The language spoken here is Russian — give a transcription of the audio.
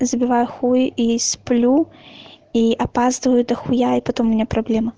забиваю хуй и сплю и опаздываю до хуя и потом у меня проблема